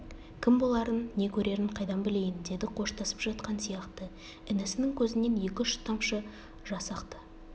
кім боларын не көрерін қайдан білейін деді қоштасып жатқан сияқты інісінің көзінен екі-үш тамшы жас ақты